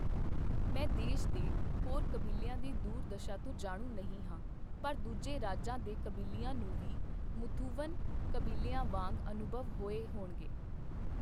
ਮੈਂ ਦੇਸ਼ ਦੇ ਹੋਰ ਕਬੀਲਿਆਂ ਦੀ ਦੁਰਦਸ਼ਾ ਤੋਂ ਜਾਣੂ ਨਹੀਂ ਹਾਂ, ਪਰ ਦੂਜੇ ਰਾਜਾਂ ਦੇ ਕਬੀਲਿਆਂ ਨੂੰ ਵੀ ਮੁਥੂਵਨ ਕਬੀਲਿਆਂ ਵਾਂਗ ਅਨੁਭਵ ਹੋਏ ਹੋਣਗੇ।